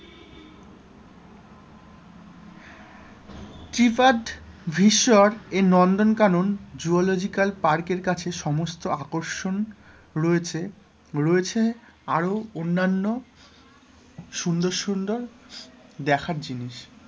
ত্রিপাদ ভিসর এই Nandankanan zoological park কাছে সমস্ত আকর্ষণ রয়েছে, রয়েছে আরো অন্যান্য সুন্দর সুন্দর দেখার জিনিস,